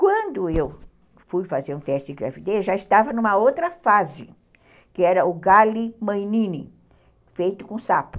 Quando eu fui fazer um teste de gravidez, já estava numa outra fase, que era o Galli-Mainini, feito com sapo.